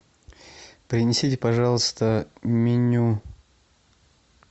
принесите пожалуйста меню